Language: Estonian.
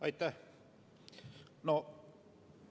Aitäh!